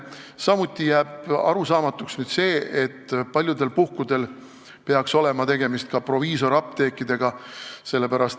Samuti jääb arusaamatuks see, et paljudel puhkudel peaks olema tegemist ka proviisorapteekidega.